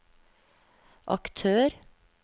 aktør